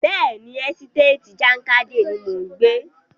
Bẹ́ẹ̀ni, ẹ́sítéètì Jákàndè ni mò ń gbé.